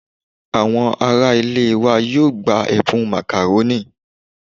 Àwọn ará ilé wa yóò gba ẹ̀bùn Macaroni